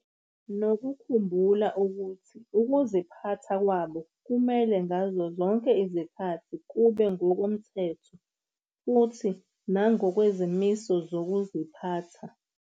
Nokukhumbula ukuthi ukuziphatha kwabo kumele ngazo zonke izikhathi kube ngokomthetho futhi nangokwezimiso zokuziphatha.